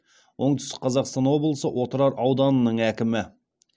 оңтүстік қазақстан облысы отырар ауданының әкімі